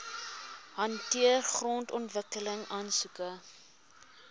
hanteer grondontwikkeling aansoeke